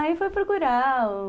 Aí foi procurar o...